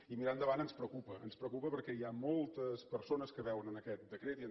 i mirar endavant ens preocupa ens preocupa perquè hi ha moltes persones que veuen en aquest decret